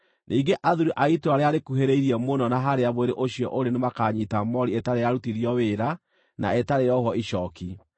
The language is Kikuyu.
Ningĩ athuuri a itũũra rĩrĩa rĩkuhĩrĩirie mũno na harĩa mwĩrĩ ũcio ũrĩ nĩmakanyiita moori ĩtarĩ yarutithio wĩra na ĩtarĩ yohwo icooki,